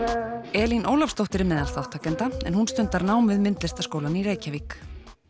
Elín Ólafsdóttir er meðal þátttakenda en hún stundar nám við Myndlistarskólann í Reykjavík